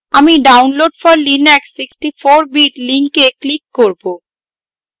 আমি download for linux 64 bit link click করব